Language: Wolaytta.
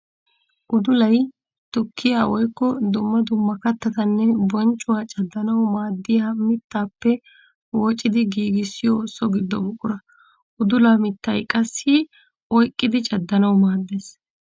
Uddullay tukkiya woykko dumma dumma kattatanne bonccuwa caddanawu maadiya mittappe woocciddi giigissiyo so gido buqura. Uddulla mittay qassi oyqqiddi caddanawu maades.